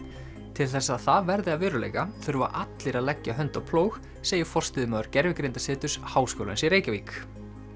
til þess að það verði að veruleika þurfa allir að leggja hönd á plóg segir forstöðumaður Háskólans í Reykjavík